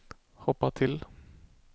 hoppa till